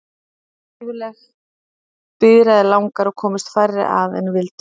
Aðsókn varð gífurleg, biðraðir langar og komust færri að en vildu.